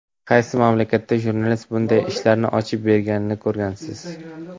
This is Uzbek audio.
Qaysi mamlakatda jurnalist bunday ishlarni ochib berganini ko‘rgansiz?